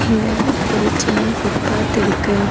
இங்க ஒரு சின்ன ஃபுட் பாத் இருக்கு.